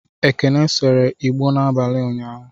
Ekene seree igbo n'abalị ụnyaahụ.